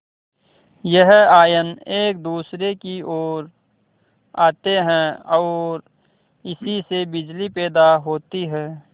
यह आयन एक दूसरे की ओर आते हैं ओर इसी से बिजली पैदा होती है